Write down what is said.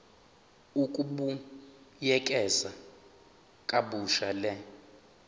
ukubuyekeza kabusha le